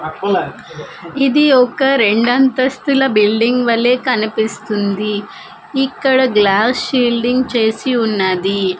ఇది ఒక రెండంతస్తుల బిల్డింగ్ వలె కనిపిస్తుంది ఇక్కడ గ్లాస్ షీల్డింగ్ చేసి ఉన్నది.